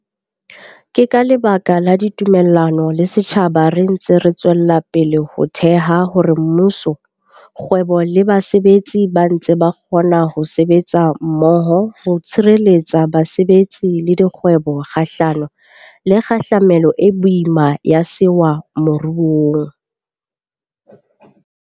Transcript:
Ke ka lebaka la ditumellano le setjhaba re ntse re tswella ho theha hore mmuso, kgwebo le basetsi ba ntse ba kgona ho sebetsa mmoho ho tshireletsa basebetsi le dikgwebo kgahlano le kgahlamelo e boima ya sewa moruong.